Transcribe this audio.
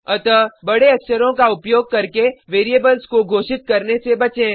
अतः बडे अक्षरों का उपयोग करके वेरिएबल्स को घोषित करने से बचें